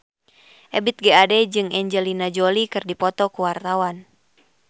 Ebith G. Ade jeung Angelina Jolie keur dipoto ku wartawan